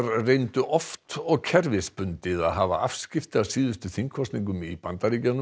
reyndu oft og kerfisbundið að hafa afskipti af síðustu þingkosningum í Bandaríkjunum